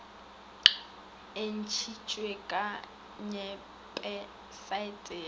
e ntšitšwe ka wepesaete ya